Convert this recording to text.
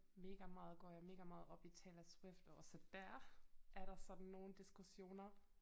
Mega meget går jeg mega meget op i Taylor Swift og også dér er der sådan nogle diskussioner